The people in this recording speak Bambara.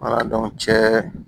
cɛ